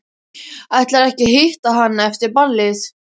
Ætlarðu ekki að hitta hana eftir ballið?